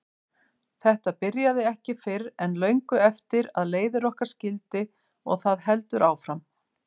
Þetta byrjaði ekki fyrr en löngu eftir að leiðir okkar skildi og það heldur áfram.